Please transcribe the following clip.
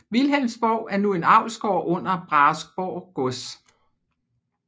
Vilhelmsborg er nu en avlsgård under Brahesborg Gods